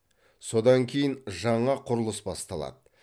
содан кейін жаңа құрылыс басталады